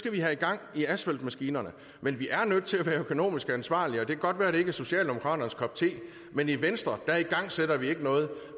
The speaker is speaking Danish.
vi have gang i asfaltmaskinerne men vi er nødt til at være økonomisk ansvarlige og det kan godt være at det ikke er socialdemokraternes kop te men i venstre igangsætter vi ikke noget